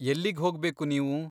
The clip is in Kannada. ಎಲ್ಲಿಗ್ಹೋಗ್ಬೇಕು ನೀವು?